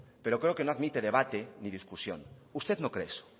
pero creo que no admite debate ni discusión usted no cree eso